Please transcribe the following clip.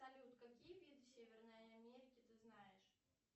салют какие виды северной америки ты знаешь